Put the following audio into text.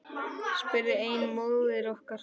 spurði ein móðirin okkur.